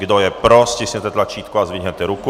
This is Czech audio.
Kdo je pro, stiskněte tlačítko a zvedněte tuku.